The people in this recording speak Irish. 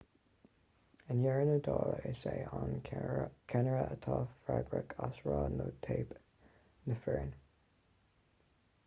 i ndeireadh na dála is é an ceannaire atá freagrach as rath nó teip na foirne